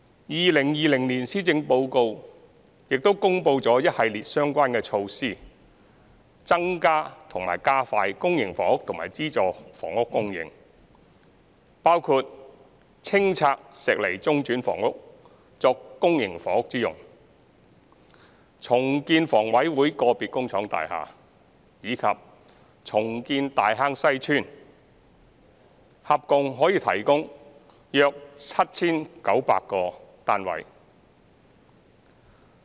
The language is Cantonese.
2020年施政報告亦公布了一系列相關措施，增加或加快公營房屋和資助房屋供應，包括清拆石籬中轉房屋作公營房屋之用、重建香港房屋委員會個別工廠大廈，以及重建大坑西邨，合共可以提供約 7,900 個單位。